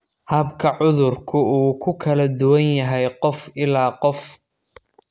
Habka cudurku wuu ku kala duwan yahay qof ilaa qof.